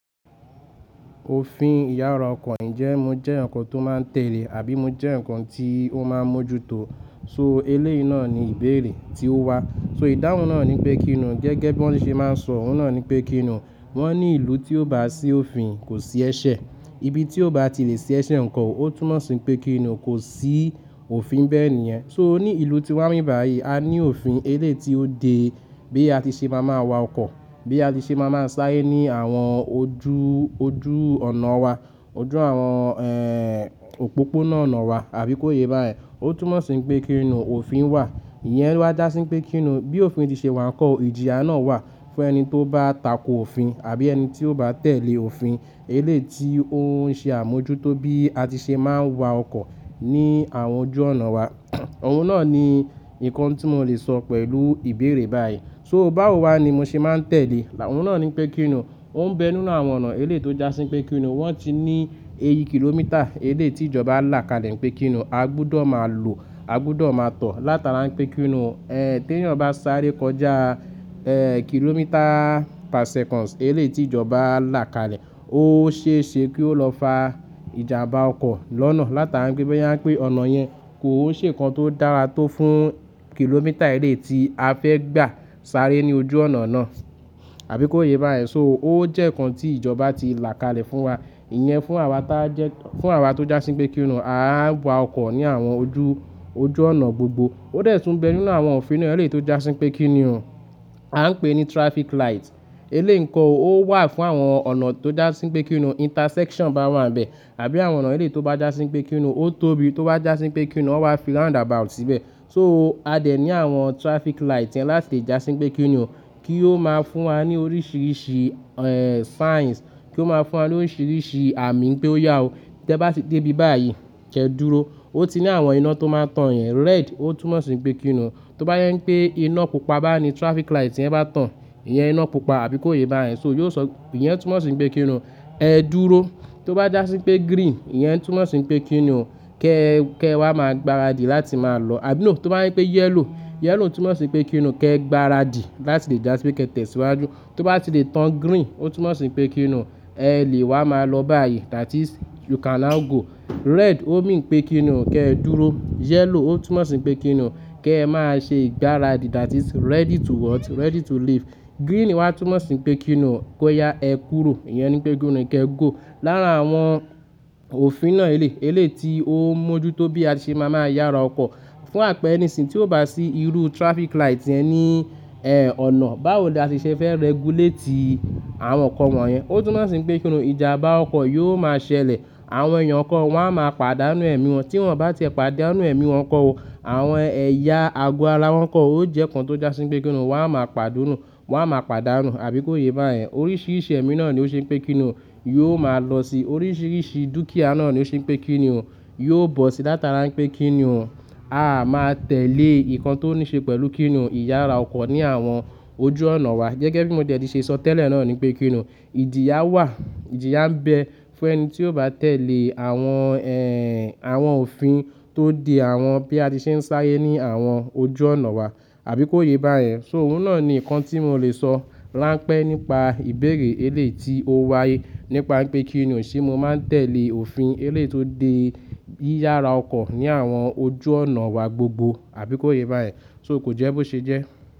Òfin ìyára ọkọ̀ jẹ́ ǹkan tó máa ń tẹ́lẹ̀ àbí ǹkan tí ó máa ń mójú tó. So eléyi náà ni ìbéèrè tí ó wá. So ìdáhùn náà ni pé kíni gẹ́gẹ́ bí wọ́n ṣe máa ń sọ òun náà ni pé kíni, wọ́n ní ìlú tí ò bá sí òfin kò sí ẹ̀ṣẹ̀. Ibi tí ò bá ti lè ṣì ẹ̀ṣẹ̀ ǹkọ́ ótúmọ̀ sí pé kíni kò sí òfin nbẹ̀ níyẹn. So ní ìlú tí wá ń bí báyìí, a ní òfin eléyi tí ó de bí a ti ṣe má ma wa ọkọ̀, bí a ti ṣe má ma sáré ní àwọn ojú, ojú ọ̀nà wa, ojú àwọn òpópónà ọ̀nà wa àbí kó yé bá yẹn. Ó túnmọ̀ sí pé kíni, òfin wà. Iyẹn wá já sí pé kíni, bí òfin ti ṣe wà ǹkọ́, ìjìyà náà wà fún ẹni tí ó bá tako òfin àbí ẹni tí ó bá tẹ̀lé òfin eléyi tí ó ń ṣe àmójútó bí a ti ṣe máa ń wa ọkọ̀ ní àwọn ojú ọ̀nà wa. Òun náà ni ǹkan tí mo lè sọ pẹ̀lú ìbéèrè báyìí. So báwo wá ni mo ṣe máa ń tẹ̀lé? Òun náà ni pé kíni, ó ń bẹ nínú àwọn ọ̀nà eléyi tó já sí pé kíni, wọ́n ti ní èye kìlómítà eléyi tí ìjọba lá kalẹ̀ pé kíni a gbúdọ̀ máa lò, a gbúdọ̀ máa tọ̀ látara pé kíni, tí ẹnìyan bá sáré kọjá kìlómítà per seconds eléyi tí ìjọba lá kalẹ̀, ó ṣe é ṣe kí ó lọ fa ìjàmbá ọkọ̀ lọ́nà látara pé bóyá pè ọ̀nà yẹn kò ń ṣe ǹkan tó dára tó fún kìlómítà eléyi tí a fẹ́ gbà sáré ní ojú ọ̀nà náà. Àbí kó yé bá yẹn. So ó jẹ́ ǹkan tí ìjọba ti lá kalẹ̀ fún wa. Iyẹn fún àwa tá jẹ́, fún àwa tó já sí pé kíni a máa ń wa ọkọ̀ ní àwọn ojú, ojú ọ̀nà gbogbo. Ó dè tún bẹ nínú àwọn òfin náà eléyi tó já sí pé kínì o, a ń pè é ní traffic light. Eléyi ǹkọ́ ò ó wà fún àwọn ọ̀nà tó já sí pé kíni intersection bá wà ń bẹ. Àbí àwọn ọ̀nà eléyi tó bá já sí pé kíni ó tóbi, tó bá já sí pé kíni ó wà fi roundabout síbẹ̀. So a dè ní àwọn traffic light yẹn láti já sí pé kíni kí ó máa fún wa ní oríṣìíríṣìí signs, kí ó máa fún wa ní oríṣìíríṣìí àmì pé ó yà ó. Tẹ́ bá ti dé ibi báyìí, kẹ́ dúró. Ó ti ní àwọn iná tó máa ń tàn yẹn. Red ó túnmọ̀ sí pé kíni tó bá jẹ́ pé iná pupa bá ni traffic light yẹn bá tàn, iyẹn iná pupa àbí kó yé bá yẹn. So yóò sọ, iyẹn túnmọ̀ sí pé kíni ẹ dúró. Tó bá já sí pé green, iyẹn túnmọ̀ sí pé kíni kẹ́, kẹ́ wa máa gbaradì láti máa lọ. Àbí nò, tó bá jẹ́ pé yellow, yellow túnmọ̀ sí pé kíni kẹ́ gbaradì láti lè já sí pé kí ẹ tẹ̀síwájú. Tó bá ti lè tàn green, ó túnmọ̀ sí pé kíni ẹ lè wa máa lọ báyìí. That is you can now go. Red o mean pé kíni kẹ́ ẹ dúró. Yellow ó túnmọ̀ sí pé kíni kẹ́ ẹ máa ṣe ìgbáradì. That is ready to what, ready to leave. Green wá túnmọ̀ sí pé kí nù kó ya ẹ kúrò. Iyẹn ni pé kíni kẹ́ ẹ go. Lára àwọn òfin náà eléyi tí ó ń mójú tó bí a ti ṣe máa ń yára ọkọ̀. Fún àpẹẹrẹ nísìyìn, tí ó bá sí irú traffic light yẹn ní ọ̀nà, báwo ni a ti ṣe fẹ́ regulate àwọn ọkọ̀ wọ̀nyẹn? Ó túnmọ̀ sí pé kíni ìjàmbá ọkọ̀ yóò máa ṣẹlẹ̀. Àwọn èèyàn kan wọ́n á máa pàdánù ẹ̀mí wọn. Tí wọ́n bá tie pàdánù ẹ̀mí wọn nkọ́ o, àwọn ẹ̀ya ago ara wọ́n nkọ́ ó jẹ́ ǹkan tó já sí pé kíni wọ́n á máa pàdánù, àbí kó yé bá yẹn. Oríṣìíríṣìí ẹ̀mí náà ni ó ṣe pé kíni yóò máa lọ sí. Oríṣìíríṣìí dúkìá náà ni ó ṣe pé kíni yóò bọ́ sí látara pé kíni a máa tẹ̀lé ǹkan tó ní ṣe pẹ̀lú kíni ìyára ọkọ̀ ní àwọn ojú ọ̀nà wa. Gẹ́gẹ́ bí mo ti ṣe sọ tẹ́lẹ̀ náà ni pé kíni ìjìyà wà, ìjìyà ń bẹ fún ẹni tí ó bá tẹ̀lé àwọn òfin tó de àwọn bí a ti ṣe ń sáré ní àwọn ojú ọ̀nà wa. Àbí kó yé bá ẹ. So òun náà ni ǹkan tí mo lè sọ ránpẹ́ nípa ìbéèrè eléyi tí ó wáyé nípa pé kíni ṣé mo máa ń tẹ̀lé òfin eléyi tó de yìyára ọkọ̀ ní àwọn ojú ọ̀nà wa gbogbo. Àbí kó yé bá ẹ. So kò jẹ́ bó ṣe jẹ́.